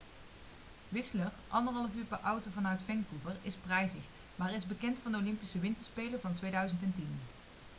whistler 1,5 uur per auto vanuit vancouver is prijzig maar is bekend van de olympische winterspelen van 2010